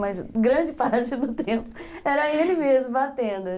Mas grande parte do tempo era ele mesmo batendo.